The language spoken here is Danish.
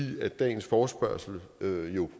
dagens forespørgsel jo